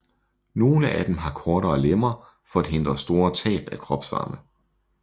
Nogle af dem har kortere lemmer for at hindre store tab af kropsvarme